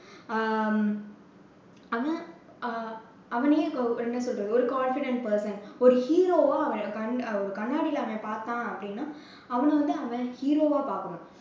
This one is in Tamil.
ஹம் அவன் அஹ் அவனையே இப்போ என்ன சொல்றது ஒரு confident person ஒரு hero வா அவன் கண்~ ஒரு கண்ணாடியில அவன் பாத்தான் அப்படின்னா அவனை வந்து அவன் hero வா பார்க்கணும்.